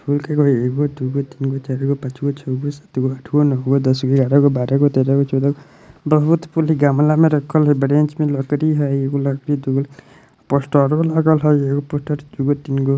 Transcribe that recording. फूल कै गो हई ? एगो दूगो तीनगो चारगो पाँचगो छौगो सातगो आठगो नौगो दसगो एगारह गो बारह गो तेरह गो चौदह गो बहुत फूल हई गमला में राखल हई मे लकड़ी हई एगो लकड़ी पोस्टरों लगल हई एगो पोस्टर दूगो तीनगो |